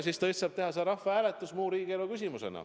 Siis tõesti saab teha rahvahääletuse muus riigielu küsimuses.